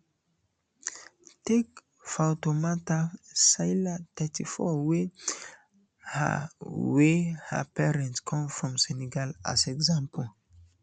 take fatoumata sylla thirty-four wey her wey her parents come from senegal as example